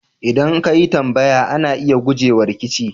ldan ka yi tambaya, ana iya guje wa rikici.